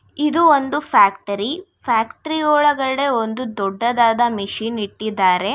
ಇದು ಒಂದು factory factory ಒಳಗಡೇ ಒಂದು ದೊಡ್ಡದಾದ ಮಿಷಿನ್ ಇಟ್ಟಿದ್ದಾರೆ.